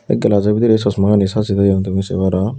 e glazzo bidrey chosmani sajey toyon tumi sei paro.